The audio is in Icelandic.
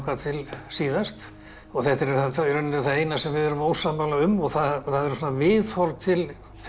til síðast og þetta er það eina sem við erum ósammála um það er viðhorf til